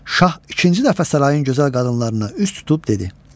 Şah ikinci dəfə sarayın gözəl qadınlarına üz tutub dedi.